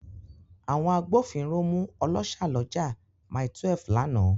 Àwọn agbófinró mú ọlọ́ṣà lọ́jà Mile12 lánàá.